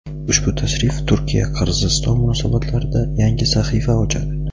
ushbu tashrif Turkiya-Qirg‘iziston munosabatlarida yangi sahifa ochadi.